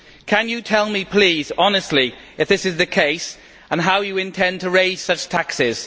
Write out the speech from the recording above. Can you tell me please, honestly, if this is the case, and how you intend to raise such taxes?